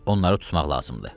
Onları tutmaq lazımdır.